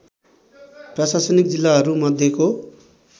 प्रशासनिक जिल्लाहरू मध्येको